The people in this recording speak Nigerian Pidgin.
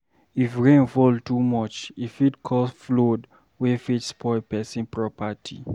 If rain fall too much, e fit cause flood wey fit spoil pesin property